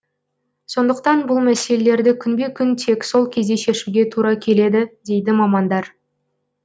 сондықтан бұл мәселелерді күнбе күн тек сол кезде шешуге тура келеді дейді мамандар